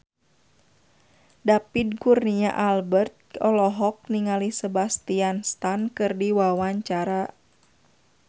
David Kurnia Albert olohok ningali Sebastian Stan keur diwawancara